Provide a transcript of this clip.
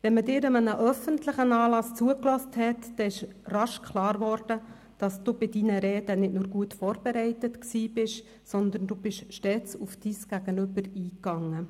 Wenn man Ihnen bei einem öffentlichen Anlass zugehört hat, dann wurde rasch klar, dass Sie bei Ihren Reden nicht nur gut vorbereitet waren, sondern Sie gingen stets auf Ihr Gegenüber ein.